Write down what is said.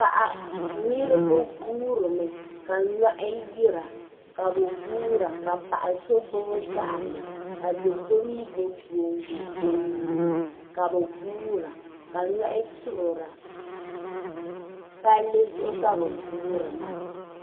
Niribi guhirimi. ka nyɔhi yira kabɛ guura kapaɣsɔ gbubi gaɣili ka doso mi gbubi. vooibu. ɔ nuuni ka bi guura palli zuɣu. ka bi guuri maa,